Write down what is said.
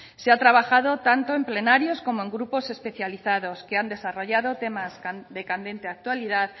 se ha trabajado tanto en plenarios como en grupos especializados que han desarrollado temas de candente actualidad